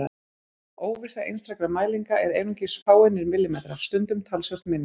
Óvissa einstakra mælinga er einungis fáeinir millimetrar, stundum talsvert minni.